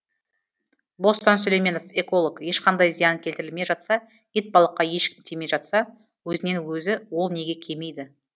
бостан сүлейменов эколог ешқандай зиян келтірілмей жатса итбалыққа ешкім тимей жатса өзінен өзі ол неге кемиді